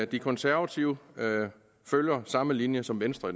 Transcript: de konservative følger samme linje som venstre